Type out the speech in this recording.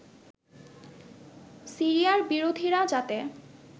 সিরিয়ার বিরোধীরা যাতে